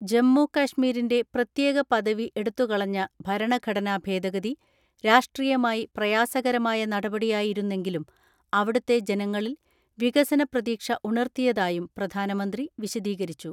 ജമ്മുകശ്മീരിന്റെ പ്രത്യേക പദവി എടുത്തുകളഞ്ഞ ഭരണ ഘടനാഭേദഗതി രാഷ്ട്രീയമായി പ്രയാസകരമായ നടപടിയായി രുന്നെങ്കിലും അവിടുത്തെ ജനങ്ങളിൽ വികസന പ്രതീക്ഷ ഉണർത്തിയതായും പ്രധാനമന്ത്രി വിശദീകരിച്ചു.